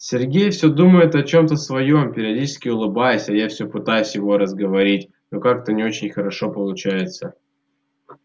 сергей всё думает о чем-то своём периодически улыбаясь а я всё пытаюсь его разговорить но как-то не очень хорошо получается